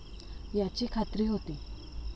याची खात्री होती.